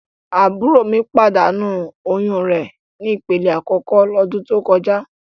Àbúrò mi pàdánù oyún re ni ìpele àkókò lọ́dún tó kọjá.